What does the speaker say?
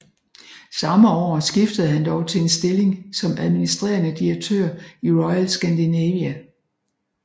Samme år skiftede han dog til en stilling som administrerende direktør i Royal Scandinavia